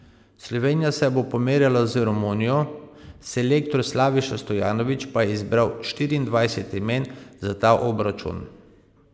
Slovenija se bo pomerila z Romunijo, selektor Slaviša Stojanović pa je izbral štiriindvajset imen za ta obračun.